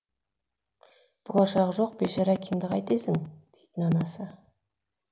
болашағы жоқ бейшара әкеңді қайтесің дейтін анасы